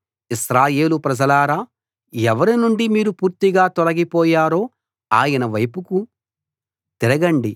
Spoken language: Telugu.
ఇశ్రాయేలు ప్రజలారా ఎవరి నుండి మీరు పూర్తిగా తొలగిపోయారో ఆయన వైపుకి తిరగండి